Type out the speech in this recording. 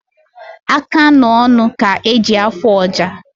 Aka na ọnụ ka eji afụ ọja